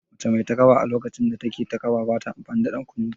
Mace mai takaba a lokacin da take taƙaba bata amfani da ɗan ƙunne